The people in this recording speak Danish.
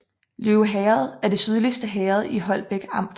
Løve Herred er det sydligste herred i Holbæk Amt